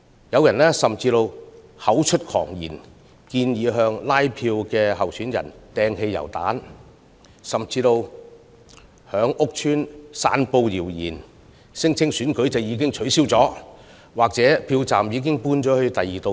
有人甚至口出狂言，建議向拉票的參選人投擲汽油彈，甚至在屋邨散布謠言，聲稱選舉已取消或票站已遷往別處等。